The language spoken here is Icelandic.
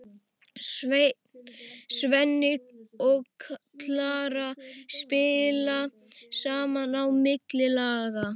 Svenni og Klara spjalla saman á milli laga.